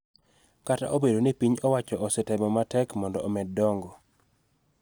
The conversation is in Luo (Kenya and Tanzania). Kata obedo ni piny owachoo osetemo matek mondo omed dongo .